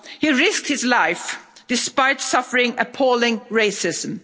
He risked his life despite suffering appalling racism.